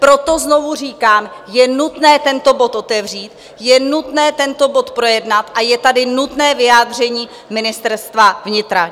Proto znovu říkám, je nutné tento bod otevřít, je nutné tento bod projednat a je tady nutné vyjádření Ministerstva vnitra.